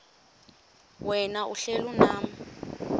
wena uhlel unam